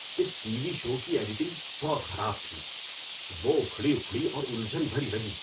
اس TV show شو کی editing بہت خراب تھی۔ وہ اکھڑی اکھڑی اور الجھن بھری لگی۔